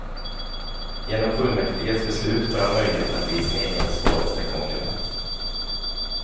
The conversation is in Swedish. Genom fullmäktiges beslut får han möjlighet att bli sin egen, svåraste konkurrent.